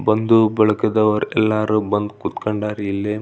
ಬಂದು ಬಳಗದವರ್ ಎಲ್ಲಾರು ಬಂದು ಕೂತ್ಕೊಂಡಾರ್ ಇಲ್ಲಿ.